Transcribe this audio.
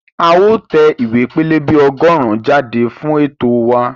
A ó tẹ ìwé pẹlẹbẹ ọgọ́rùn-ún jáde fún ètò wa